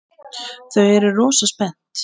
Þau eru rosa spennt.